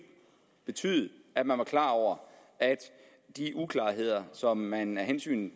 betyde at man var klar over at de uklarheder som man af hensyn